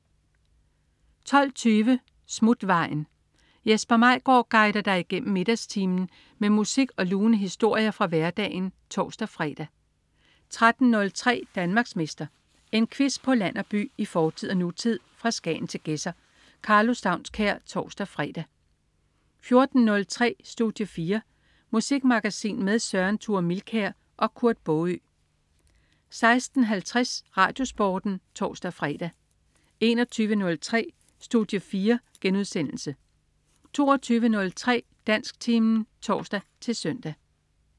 12.20 Smutvejen. Jesper Maigaard guider dig igennem middagstimen med musik og lune historier fra hverdagen (tors-fre) 13.03 Danmarksmester. En quiz på land og by, i fortid og nutid, fra Skagen til Gedser. Karlo Staunskær (tors-fre) 14.03 Studie 4. Musikmagasin med Søren Thure Milkær og Kurt Baagø 16.50 RadioSporten (tors-fre) 21.03 Studie 4* 22.03 Dansktimen (tors-søn)